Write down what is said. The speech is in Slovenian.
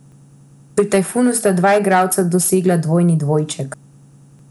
Pri Tajfunu sta dva igralca dosegla dvojni dvojček.